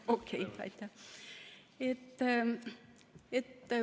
Okei, aitäh!